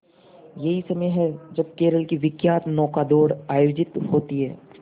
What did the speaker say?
यही समय है जब केरल की विख्यात नौका दौड़ आयोजित होती है